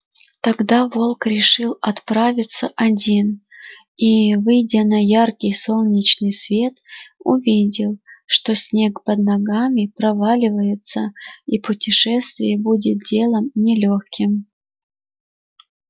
тогда волк решил отправиться один и выйдя на яркий солнечный свет увидел что снег под ногами проваливается и путешествие будет делом не лёгким